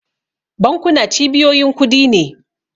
Bankuna cibiyoyin kudi ne.